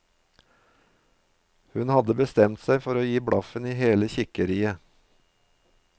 Hun hadde bestemt seg for å gi blaffen i hele kikkeriet.